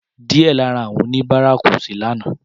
Díẹ̀ lára àwọn oníbàárà kò sí lánàá.